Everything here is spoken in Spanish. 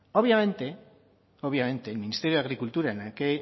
obviamente el ministerio de agricultura